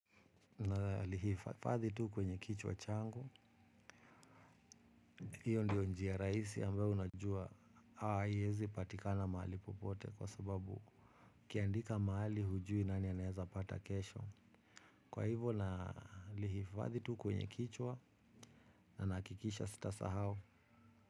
Na lihifadhi tu kwenye kichwa changu. Iyo ndio njia raisi ambayo unajua. Haa yezi patikana mahali popote. Kwa sababu ukiandika mahali hujui nani anaeza pata kesho. Kwa hivo nalihifadhi tu kwenye kichwa. Na nakikisha sita sahau.